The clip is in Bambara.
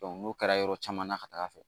n'o kɛra yɔrɔ caman na ka taga fɛ